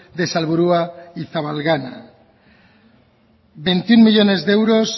de salburua y zabalgana veintiuno millónes de euros